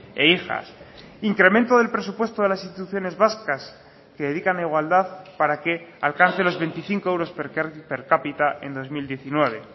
e hijas incremento del presupuesto de las instituciones vascas que dedican a igualdad para que alcance los veinticinco euros per cápita en dos mil diecinueve